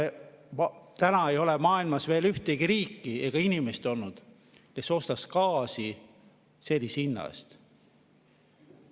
Ei ole maailmas olnud veel ühtegi riiki ega inimest, kes ostaks gaasi sellise hinna eest.